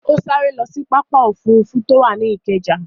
Ó sáré lọ sí pápá òfurufú tó wà ní Ìkẹjà.